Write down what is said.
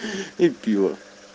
и пиво